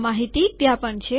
આ માહિતી ત્યાં પણ છે